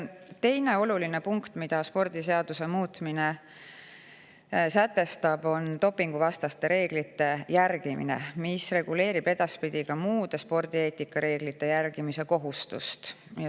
Teine oluline punkt, mille spordiseaduse muutmine sätestab, on dopinguvastaste reeglite järgimine, mis reguleerib edaspidi ka muude spordieetikareeglite järgimise kohustust.